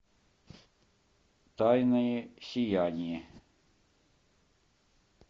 тайное сияние